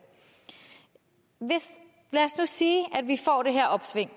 nu lad os nu sige at vi får det her opsving